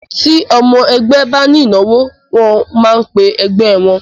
Ti ọmọ ẹgbẹ́ ba ní ìnáwó, wọ́n máa ń pẹ ẹgbẹ́ wọ́n.